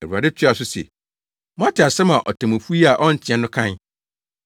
Awurade toaa so se, “Moate asɛm a otemmufo yi a ɔnteɛ no kae.